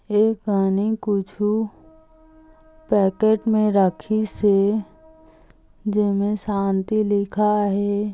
ए कानी कुछु पैकेट मे राखिस हे जेमे शांति लिखाय हे।